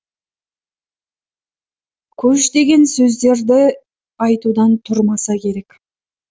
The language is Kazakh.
көш деген сөздерді айтудан тұрмаса керек